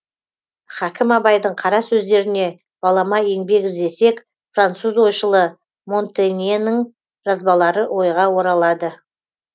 хакім абайдың қара сөздеріне балама еңбек іздесек француз ойшылы монтеньнің жазбалары ойға оралады